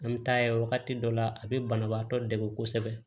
An bɛ taa ye wagati dɔ la a bɛ banabaatɔ dɛmɛ kosɛbɛ